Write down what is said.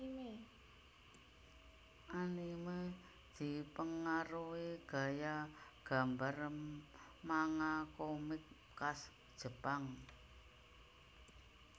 Anime dipengaruhi gaya gambar manga komik khas Jepang